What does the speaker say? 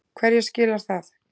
Hverju skilar það?